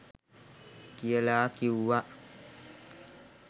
කියලා කිව්වා.